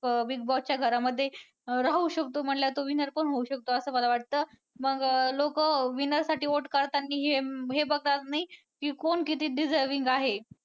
अं Big Boss च्या घरामध्ये अं राहू शकतो म्हंटल्यावर तो winner पण होऊ शकतो असं मला वाटतं मग लोकं winner साठी vote काढतात की हे बघतात नाही की कोण किती deserving आहे.